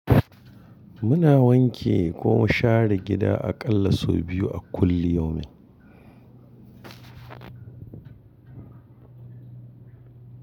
Muna wanke ko mu share gida aƙalla sau biyu a kulli yomin.